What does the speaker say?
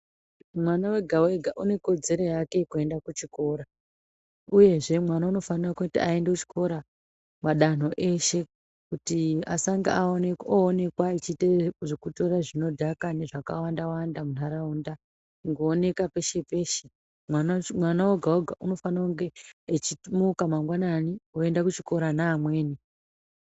Mwana wega wega une kodzera yake yeku enda ku chikora uyezve mwana unofanira kuti ayende ku chikora madanho eshe kuti asange owonekwa achiite zveku tora zvinodhaka ne zvaka wanda wanda mu ndaraunda kungo oneka peshe peshe mwana oga oga unofanira kunge echi muka mangwanani oyenda ku chikora ne amweni.